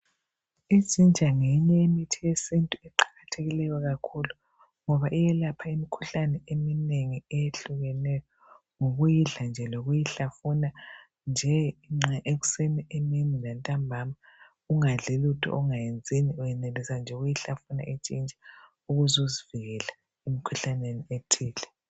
Ijinja ngeyinye yemithi yesintu eqakathekileyo kakhulu ngoba iyelapha imikhuhlane eminengi eyehlukeneyo ngokuyidla nje lokuyihlafuna nje nxa ekuseni emini lantambama ungakadli lutho ungayenzini uyenelisa nje ukuyihlafuna ijinja ukuzuzivikele emkhuhlaneni ethile.